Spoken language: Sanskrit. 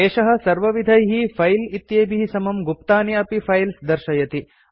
एषः सर्वविधैः फाइल्स् इत्येभिः समं गुप्तानि अपि फाइल्स् दर्शयति